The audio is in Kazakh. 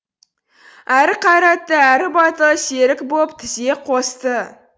әрі қайратты әрі батыл серік боп тізе қосты